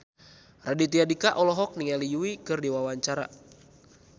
Raditya Dika olohok ningali Yui keur diwawancara